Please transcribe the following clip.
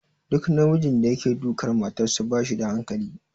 Duk namijin da yake dukar matarsa ba shi da hankali.